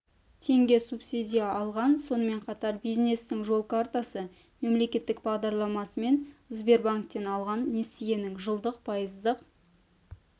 теңге субсидия алған сонымен қатар бизнестің жол картасы мемлекеттік бағдарламасымен сбербанктен алған несиесінің жылдық пайыздық